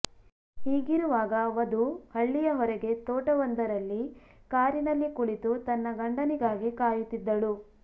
ಹೀಗಿರುವಾಗ ವಧು ಹಳ್ಳಿಯ ಹೊರಗೆ ತೋಟವೊಂದರಲ್ಲಿ ಕಾರಿನಲ್ಲಿ ಕುಳಿತು ತನ್ನ ಗಂಡನಿಗಾಗಿ ಕಾಯುತ್ತಿದ್ದಳು